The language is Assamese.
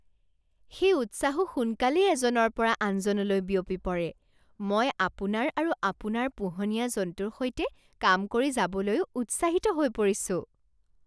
সেই উৎসাহো সোনকালেই এজনৰ পৰা আনজনলৈ বিয়পি পৰে! মই আপোনাৰ আৰু আপোনাৰ পোহনীয়া জন্তুৰ সৈতে কাম কৰি যাবলৈও উৎসাহিত হৈ পৰিছো।